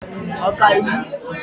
ọkaiwu